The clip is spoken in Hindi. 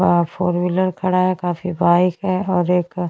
आ फोर व्हीलर पड़ा है काफी बाइक है और एक--